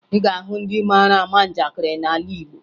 Ị ga-ahụ ndị mara ama njakịrị n'ala Igbo